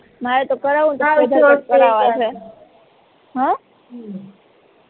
મારે તો કરાવવું ને તો કરાવવા છે હમ